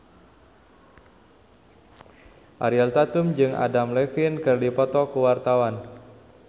Ariel Tatum jeung Adam Levine keur dipoto ku wartawan